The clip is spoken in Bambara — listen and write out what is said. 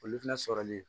Olu fana sɔrɔli